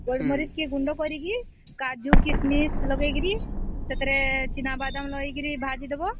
ମରିଚ କେ ଗୁଣ୍ଡ କରିକି କାଜୁ କିସମିସ କେ ଲଗେଇକିରି ସେଥିରେ ଚୀନ ବାଦାମ ଲଗେଇକିରି ଭାଜି ଦବା